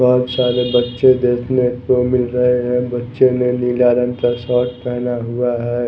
बहुत सारे बच्चे देखने को मिल रहे हैं बच्चे ने नीला रंग का शर्ट पहना हुआ है।